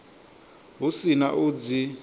hu si na u dzi